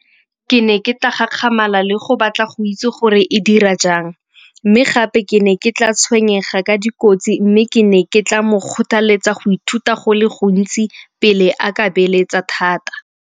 Ke ne ke tla gakgamala le go batla go itse gore e dira jang mme gape ke ne ke tla tshwenyega ka dikotsi. Mme ke ne ke tla mo kgothaletsa go ithuta go le gontsi pele a ka beeletsa thata.